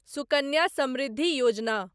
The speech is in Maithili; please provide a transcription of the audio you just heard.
सुकन्या समृद्धि योजना